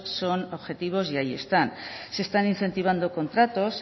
son objetivos y ahí están se están incentivando contratos